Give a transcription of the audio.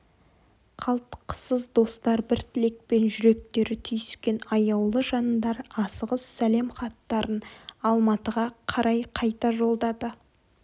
қалтқысыз достар бір тілекпен жүректері түйіскен аяулы жандар асығыс сәлем хаттарын алматыға қарай қайта жолдады